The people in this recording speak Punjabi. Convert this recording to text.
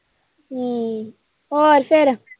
ਹਮ ਹੋਰ ਫੇਰ।